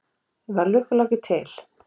Var Lukku-Láki til?